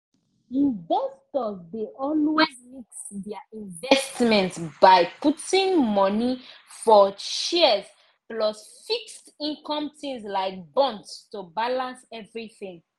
investors dey always mix their investment by putting money for shares plus fixed-income things like bonds to balance everything